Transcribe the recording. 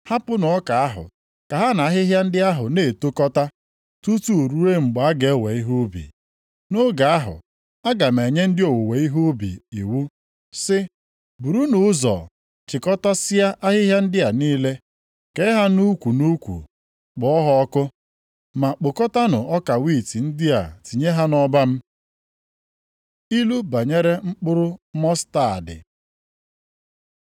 Hapụnụ ọka ahụ ka ha na ahịhịa ndị ahụ na-etokọta, tutu ruo mgbe a ga-ewe ihe ubi. Nʼoge ahụ aga m enye ndị owuwe ihe ubi iwu sị, burunu ụzọ chịkọtasịa ahịhịa ndị a niile, kee ha nʼukwu nʼukwu, kpọọ ha ọkụ. Ma kpokọtanụ ọka wiiti ndị a tinye ha nʼọba m.’ ” Ilu banyere mkpụrụ mọstaadị